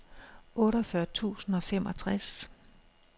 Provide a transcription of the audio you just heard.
otteogfyrre tusind og femogtres